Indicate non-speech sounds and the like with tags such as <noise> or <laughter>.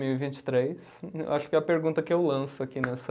<unintelligible> Vinte e três, acho que a pergunta que eu lanço aqui nessa